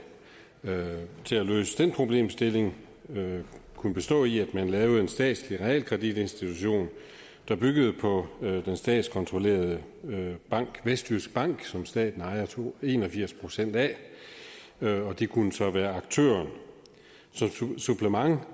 til at løse den problemstilling kunne bestå i at man lavede en statslig realkreditinstitution der byggede på den statskontrollerede bank vestjysk bank som staten ejer en og firs procent af og det kunne så være aktøren som et supplement